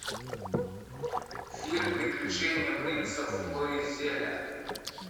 фильм приключения принца флоризеля